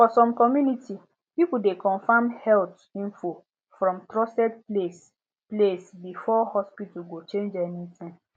for some community people dey confirm health info from trusted place place before hospital go change anything